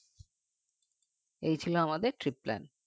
এই ছিল আমাদের trip plan